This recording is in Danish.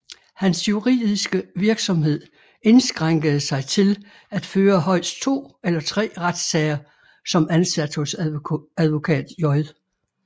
Hans juridiske virksomhed indskrænkede sig til at føre højst to eller tre retssager som ansat hos advokat J